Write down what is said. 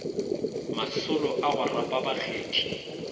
masolo a go rapa bakgethi